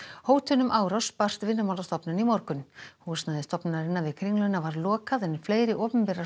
hótun um árás barst Vinnumálastofnun í morgun húsnæði stofnunarinnar við Kringluna var lokað en fleiri opinberar